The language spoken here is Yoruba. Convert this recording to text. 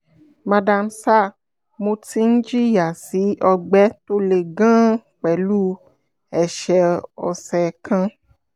madam/sir mo ti ń jìyà sí ọgbẹ́ tó le gan-an pẹ̀lú ẹ̀ṣẹ̀ ọ̀sẹ̀ kan